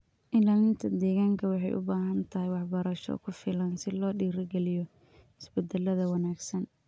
Ilaalinta deegaanka waxay u baahan tahay waxbarasho ku filan si loo dhiirrigeliyo isbedelada wanaagsan.